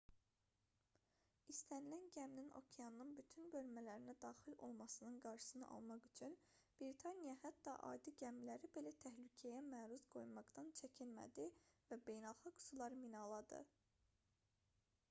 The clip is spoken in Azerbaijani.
i̇stənilən gəminin okeanın bütün bölmələrinə daxil olmasının qarşısını almaq üçün britaniya hətta adi gəmiləri belə təhlükəyə məruz qoymaqdan çəkinmədi və beynəlxalq suları minaladı